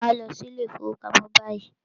Màá lọ sí ilé ìfọwọ́pamo báyìí!